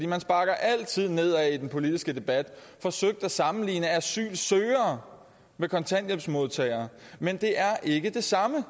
man sparker altid nedad i den politiske debat forsøgt at sammenligne asylsøgere med kontanthjælpsmodtagere men det er ikke det samme